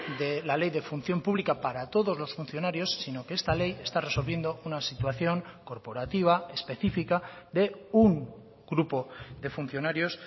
de la ley de función pública para todos los funcionarios sino que esta ley está resolviendo una situación corporativa específica de un grupo de funcionarios